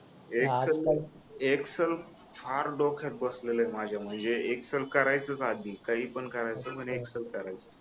Excel Excel फार डोक्यात बसलेल आहे माझ्या म्हणजे एक्सल करायचंच आधी काही पण करायचं पण एक्सेल करायचं